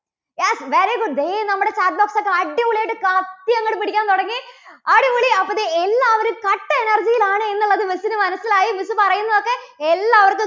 yes very good ദേ നമ്മുടെ chat box ഒക്കെ അടിപൊളിയായിട്ട് കത്തി അങ്ങോട്ട് പിടിക്കാൻ തുടങ്ങി. അടിപൊളി. അപ്പോ ദേ എല്ലാവരും കട്ട energy യിൽ ആണ് എന്നുള്ളത് miss ന് മനസിലായി. miss പറയുന്നതൊക്കെ എല്ലാവർക്കും